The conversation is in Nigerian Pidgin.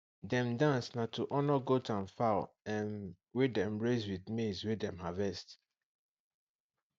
dem dance na to honour goat and fowl um wey dem raise with maize wey dem harvest